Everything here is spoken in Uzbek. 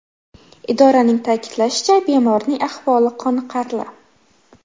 Idoraning ta’kidlashicha, bemorning ahvoli qoniqarli.